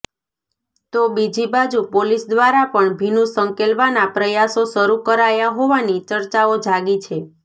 તો બીજી બાજુ પોલીસ દ્વારા પણ ભીનું શંકેલવાના પ્રયાસો શરૂ કરાયા હોવાની ચર્ચાઓ જાગી છે